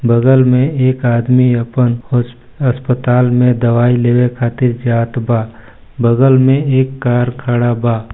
बगल मे एक आदमी अपन होस अस्पताल मे दवाई लेवे खातिर जात बा बगल मे एक कार खड़ा बा।